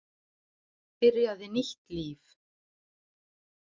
Byrjaði nýtt líf.